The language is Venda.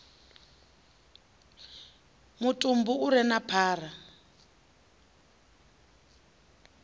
mutumbu u re na phara